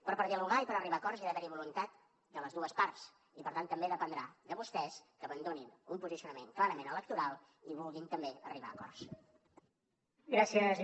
però per dialogar i per arribar a acords hi ha d’haver voluntat de les dues parts i per tant també dependrà de vostès que abandonin un posicionament clarament electoral i vulguin també arribar a acords